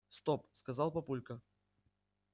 стоп сказал папулька